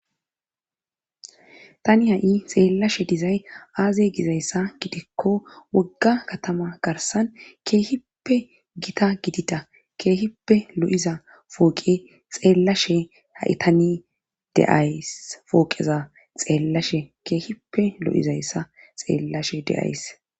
Tani ha'i xeellashe dizay aaze gizayssa gidikko wogga katama garsan keehippe gita gidida keehippe lo'iza fooqe xeellashe ha'i tani deays fooqeza xeellashe keehippe lo'izayssa xeellashe de'ays